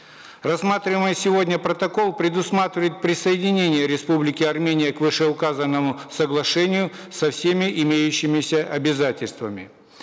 рассматриваемый сегодня протокол предусматривает присоединение республики армения к вышеуказанному соглашению со всеми имеющимися обязательствами